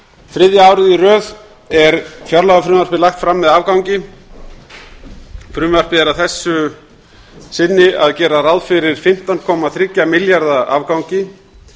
þriðja árið í röð er fjárlagafrumvarpið lagt fram með afgangi frumvarpið gerir að þessu sinni ráð fyrir fimmtán komma þriggja milljarða afgangi